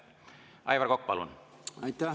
Aivar Kokk, palun!